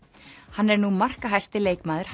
hann er nú markahæsti leikmaður